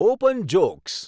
open jokes